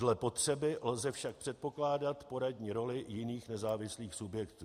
Dle potřeby lze však předpokládat poradní roli jiných nezávislých subjektů.